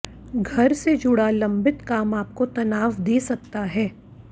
घर से जुड़ा लंबित काम आपको तनाव दे सकता है